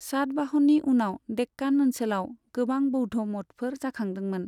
सातवाहननि समाव देक्कान ओनसोलाव गोबां बौद्ध मठफोर जाखांदोंमोन।